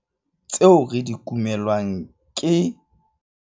Tseo re di kumelwang ke...